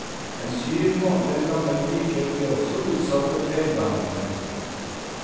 En syv måneder gammel pike ble også utsatt for feilbehandlingen.